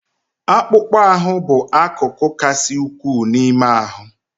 Akpụkpọ ahụ bụ akụkụ kasị ukwuu n'ime ahụ.